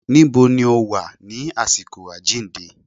Níbo ni ó Wà ní àsìkò àjíǹde?